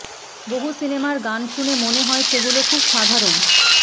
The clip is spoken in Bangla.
বহু সিনেমার গান শুনে মনে হয় সেগুলো খুব সাধারণ